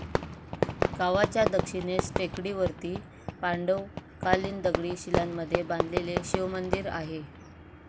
गावाच्या दक्षिणेस टेकडीवरती पांडवकालिन दगडी शिलांमध्ये बांधलेले शिवमंदिर आहे.